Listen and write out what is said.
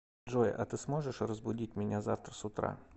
джой а ты сможешь разбудить меня завтра с утра